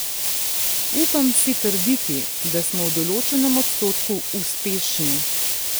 Upam si trditi, da smo v določenem odstotku uspešni.